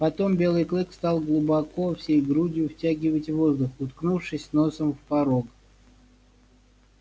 потом белый клык стал глубоко всей грудью втягивать воздух уткнувшись носом в порог